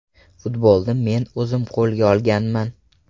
Futbolni men o‘zim qo‘lga olganman.